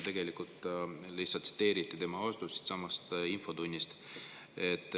Tegelikult seal lihtsalt tsiteeriti tema vastust siinsamas infotunnis.